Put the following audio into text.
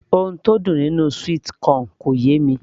ohun tó dùn nínú sweet corn kò yé mi